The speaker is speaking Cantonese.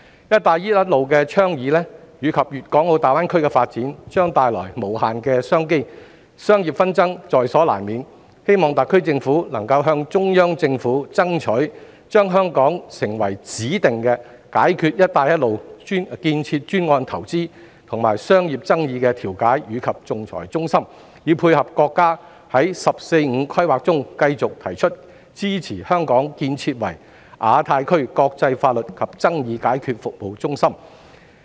"一帶一路"的倡議及粵港澳大灣區的發展，將帶來無限商機，商業紛爭在所難免，我希望特區政府能夠向中央政府爭取，讓香港成為解決"一帶一路"建設專案投資和商業爭議的指定調解及仲裁中心，以配合國家在"十四五"規劃中繼續提出的支持香港建設亞太區國際法律及解決爭議服務中心的目標。